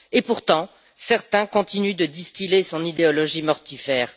Et pourtant, certains continuent de distiller son idéologie mortifère.